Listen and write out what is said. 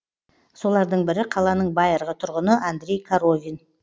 солардың бірі қаланың байырғы тұрғыны андрей коровин